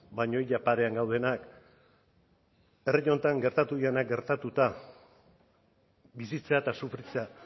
baina ia parean gaudenak herri honetan gertatu direnak gertatuta bizitzea eta sufritzea